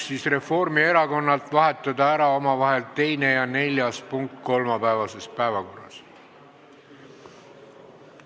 Reformierakonnalt on tulnud ettepanek vahetada omavahel ära kolmapäevase päevakorra 2. ja 4. punkt.